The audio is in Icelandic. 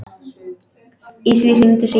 Í því hringdi síminn.